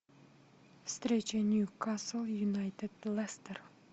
встреча ньюкасл юнайтед лестер